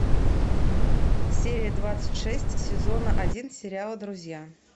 серия двадцать шесть сезона один сериала друзья